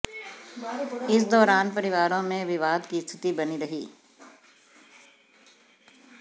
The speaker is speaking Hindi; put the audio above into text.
इस दौरान परिवारों में विवाद की स्थिति बनी रही